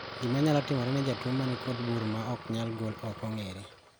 Gimanyalo timore ne jotuo manikod bur maoknyal gol okong`ere.